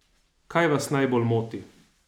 Kaj vas najbolj moti?